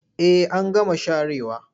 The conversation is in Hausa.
Eh an gama sharewa.